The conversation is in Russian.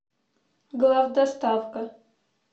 главдоставка